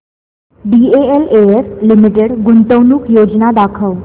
DLF limited गुंतवणूक योजना दाखव